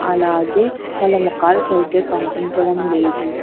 అలాగే వాళ్ళ మొఖాలు సరిగ్గా కన్పించడం లేదు.